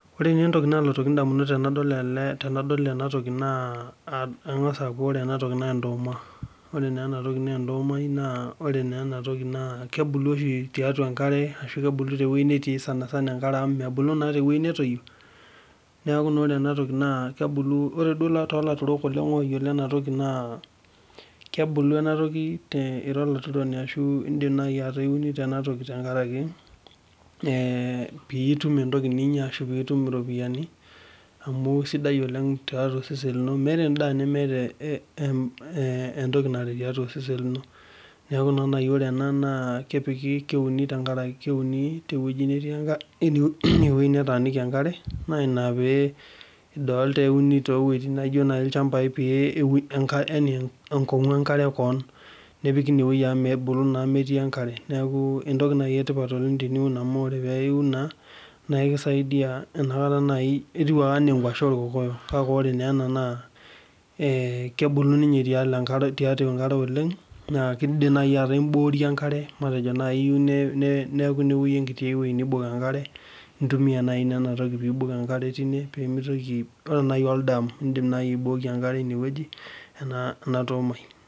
Ore inye entoki nalootiki indamunot tenadol ena tokii naa keng'as aaku ore ena toki naa ndooma ore naa ena toki naa kebulu oshii tiatua enkare ashu kabulu tewei netii sanisana enkare amuu mebulu naa tewei natoyio neekue naa ore enatoki kebulu ore duo toolaturuk oleng' oyiolo ena toki naa kebulu ena toki te ira olaturoni ashu eta iunito naji ena toki tenkaraki piitum entoki ninya aashu piitum irropiyiani amu sidai oleng' too sesen lino meeta endaa nemeeta entoki narret tiatua osesen lino neeku naa nayii ore ena naa keuni teweji neeti enkare teine wei netaaniki enkare naa ina pee idolta ewunito naijo naji ilchampai peeeun enkong'u enkare koon nepiki ine wei amu mebulu naa metii enkare neeku entoki nayi etipat oleng' teniun amuu ore peewun nikisaidia nakata nayii etiu ake enaa enkwashe oorkokoyok kake ore naa ena naa kebulu ninye tiatua enkare oleng' naa keidim najii ataa imboorie enkare matejo najii iyui neeku enkiti wei neibok enkare intumia nayii nena tokiting' pee eibok enkare teine peemitoki ore nayi oldam iindim naayi aibokie enkare ine wei.